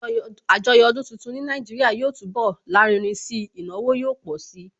Àjọyọ̀ ọdún tuntun ní Nàìjíríà yóò túnbọ̀ lárinrin si, ìnáwó yóò pọ̀ si